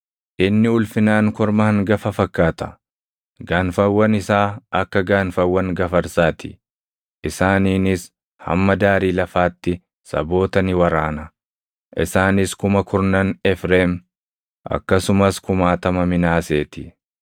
Inni ulfinaan korma hangafa fakkaata; gaanfawwan isaa akka gaanfawwan gafarsaa ti. Isaaniinis hamma daarii lafaatti saboota ni waraana. Isaanis kuma kurnan Efreem, akkasumas kumaatama Minaasee ti.”